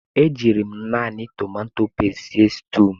E jiiri m naanị tomato pesti sie sutuu.